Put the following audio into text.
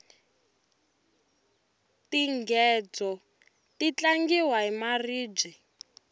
tinghedzo ti tlangiwa hi maribye